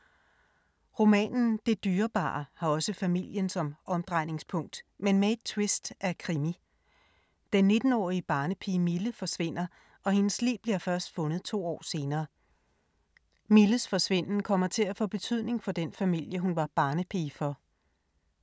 Romanen Det dyrebare har også familien som omdrejningspunkt, men med et twist af krimi. Den 19-årige barnepige Mille forsvinder og hendes lig bliver først fundet to år senere. Milles forsvinden kommer til at få betydning for den familie hun var barnepige for.